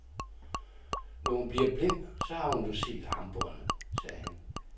Når hun bliver blind, så har hun jo set armbåndet, sagde han.